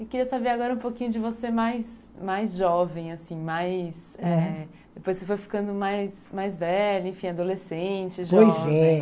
Eu queria saber agora um pouquinho de você mais mais jovem, assim, mais mais... Depois você foi ficando mais mais velha, enfim, adolescente, jovem. Pois, é